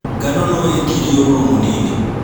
Ngano noĩtĩrie ũrũrũ mũnini.